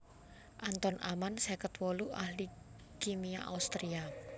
Anton Amann seket wolu ahli kimia Austria